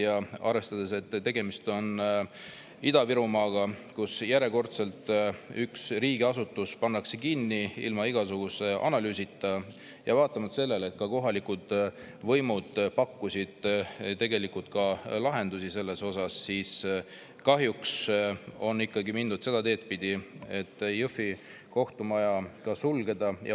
Kui arvestada, et tegemist on Ida-Virumaaga, kus pannakse järjekordselt üks riigiasutus kinni ilma igasuguse analüüsita, ja vaatamata sellele, et ka kohalikud võimud pakkusid tegelikult selle kohta lahendusi, on kahjuks ikkagi mindud seda teed pidi, et Jõhvi kohtumaja tuleks sulgeda.